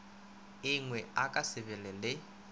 engwe a ka sebe le